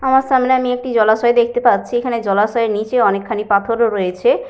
আমার সামনে আমি একটি জলাশয় দেখতে পাচ্ছি। এখানে জলাশয়ের নিচে অনেকখানি পাথরও রয়েছে।